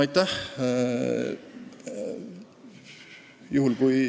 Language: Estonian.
Aitäh!